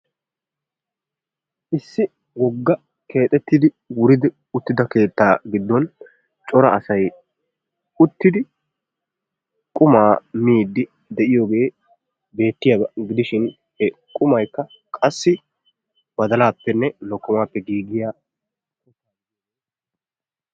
Issi wogga keexettidi wuridi uttida keettaa giddon cora asay uttidi qumaa miiddi de"iyoogee beettiyaaba gidishin qumaykka qassi badalaappenne lokkomaappe giigiyaagaa.